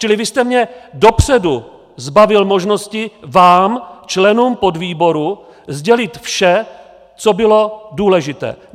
Čili vy jste mě dopředu zbavil možnosti vám, členům podvýboru, sdělit vše, co bylo důležité.